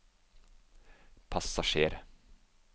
passasjer